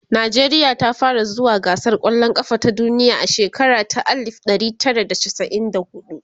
nijeriya ta fara zuwa gasar kwallan kafa ta duniya a shekara ta alif ɗari Tara da chasa'in da huɗu